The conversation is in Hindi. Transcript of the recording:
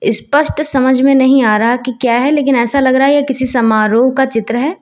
स्पष्ट समझ में नहीं आ रहा कि यह क्या है लेकिन ऐसा लग रहा है यह किसी समारोह का चित्र है।